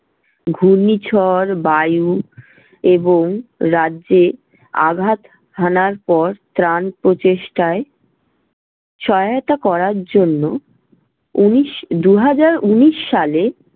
ঘূর্ণিঝড় বায়ু এবং রাজ্যে আঘাত হানার পর ত্রাণ প্রচেষ্টায় সহায়তা করার জন্য উনিশ~ দু'হাজার উনিশ সালে